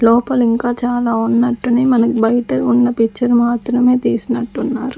లోపలింకా చాలా ఉన్నట్టునే మనకి బైటే ఉన్న పిక్చర్ మాత్రమే తీసినట్టున్నారు.